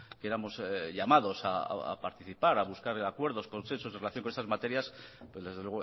que éramos llamados a participar a buscar acuerdos o consensos en relación con esas materias pero desde